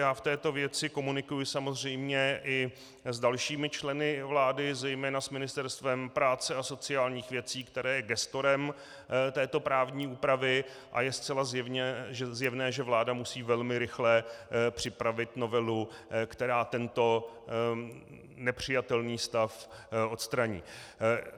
Já v této věci komunikuji samozřejmě i s dalšími členy vlády, zejména s Ministerstvem práce a sociálních věcí, které je gestorem této právní úpravy, a je zcela zjevné, že vláda musí velmi rychle připravit novelu, která tento nepřijatelný stav odstraní.